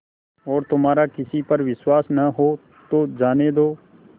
और तुम्हारा किसी पर विश्वास न हो तो जाने दो